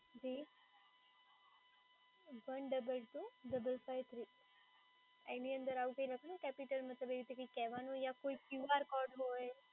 જી one double two double five three એની અંદર આવું લખેલું capital માં મતલબ એવું કંઈ કહેવાનું યા ક્યુ આર કોડ હોય.